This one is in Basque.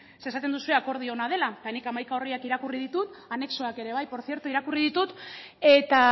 esaten duzue akordio ona dela eta nik hamaika orriak irakurri ditut anexoak ere por tzierto irakurri ditut eta